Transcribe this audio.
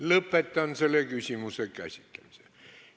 Lõpetan selle küsimuse käsitlemise.